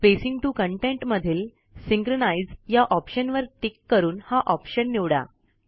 spacing to content मधील synchronise या ऑप्शनवर टिक करून हा ऑप्शन निवडा